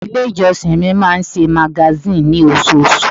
Ilé ìjọsìn mi máa ń ṣe magazine ní osoosù.